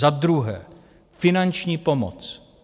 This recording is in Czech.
Za druhé, finanční pomoc.